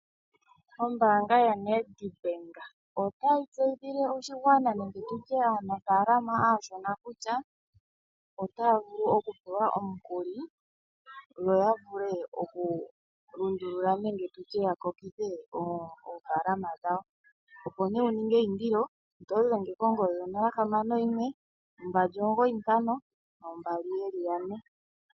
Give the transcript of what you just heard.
Ombaanga ya NedBank otayi tseyithile oshigwana nenge nditye aanafalama aashona kutya otaya vulu okupewa omukuli, yo ya vule okulundulula memge tutye ya kokithe oofalama dhawo. Opo nee wu ninge eyindilo, oto dhenge konomola 0612952222.